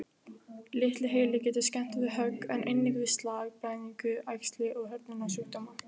Litli heili getur skemmst við högg, en einnig við slag, blæðingu, æxli og hrörnunarsjúkdóma.